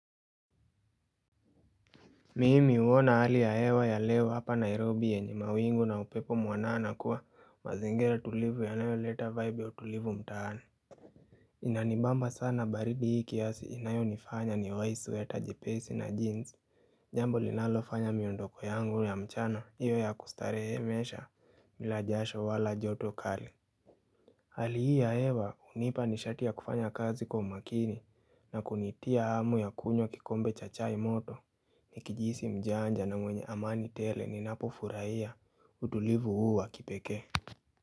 Mimi huona hali ya hewa ya leo hapa Nairobi yenye mawingu na upepo mwanana kwa mazingira tulivu yanayoleta vibe ya utulivu mtaani Inanibamba sana baridi hii kiasi inayonifanya ni wai sweater jepesi na jeans jambo linalofanya miondoko yangu ya mchana iwe ya kustarehemesha bila jasho wala joto kali Hali hii ya hewa hunipa nishati ya kufanya kazi kwa umakini na kunitia hamu ya kunywa kikombe cha chai moto Nikijihisi mjanja na mwenye amani tele ninapofurahia utulivu huu wa kipeke.